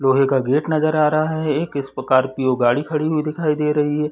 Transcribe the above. लोहे का गेट नज़र आ रहा है एक स्कॉर्पियो गाड़ी खड़ी हुई दिखाई दे रही है।